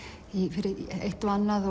fyrir eitt og annað